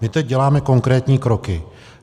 My teď děláme konkrétní kroky.